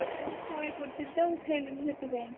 ଏଇ ଶୋଇପଡ଼ିଥିଲି ତ ଉଠେଇଲିନି ସେଥିପାଇଁ।